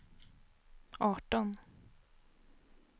arton